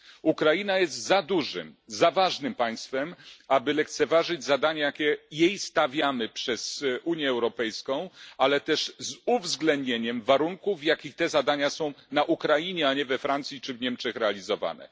Ukraina jest za dużym, za ważnym państwem, aby lekceważyć zadania, jakie jej stawiamy jako Unia Europejska, ale róbmy to z uwzględnieniem warunków, w jakich te zadania są na Ukrainie, a nie we Francji czy w Niemczech, realizowane.